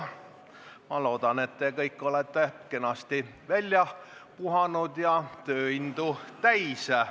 Ma loodan, et te kõik olete kenasti välja puhanud ja tööindu täis.